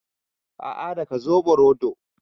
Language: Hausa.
A'a, daga zoɓo rodo